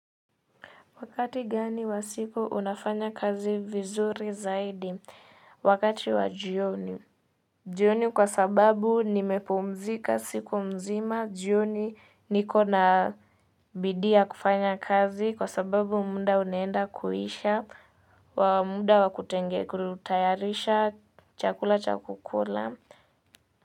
Wakati gani wa siku unafanya kazi vizuri zaidi? Wakati wa jioni jioni kwa sababu nimepumzika siku mzima, jioni nikona bidii ya kufanya kazi kwa sababu muda unaenda kuisha muda wa kutayarisha chakula cha kukula.